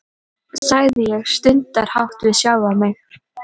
sagði ég stundarhátt við sjálfa mig.